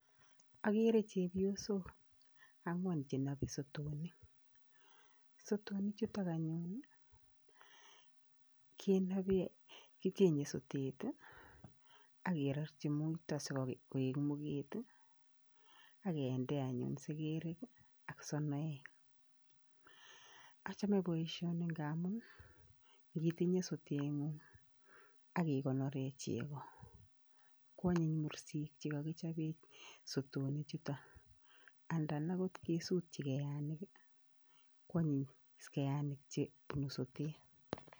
akere chebiosok angwan chenope sotonik, sotonichutok anyun kicheng sotet akerorchi muito sikoik muget akende anyun sekerek ak sonoek, achome boisioni ngamun ngitinye soteng'ung akikonoren cheko kwonyiny mursik chekokichopen sotonichuto andan akot isutchikeanik kwonyin keanik chekobunu sotet.